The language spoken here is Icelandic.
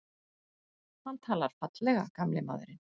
Hann talar fallega, gamli maðurinn.